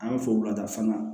An b'a fɔ wulada fana